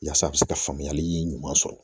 Yaasa a bi se ka faamuyali ɲuman sɔrɔ